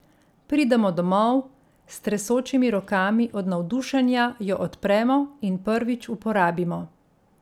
Pridemo domov, s tresočimi rokami od navdušenja jo odpremo in prvič uporabimo.